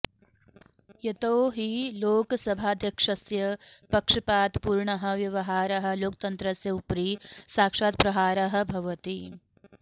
यतो हि लोकसभाध्यक्षस्य पक्षपातपूर्णः व्यवहारः लोकतन्त्रस्य उपरि साक्षात् प्रहारः भवति